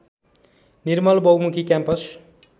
निर्मल बहुमुखी क्याम्पस